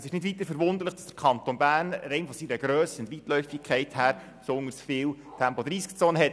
Es ist nicht weiter verwunderlich, dass der Kanton Bern rein aufgrund seiner Grösse und Weitläufigkeit besonders viele Tempo-30-Zonen hat.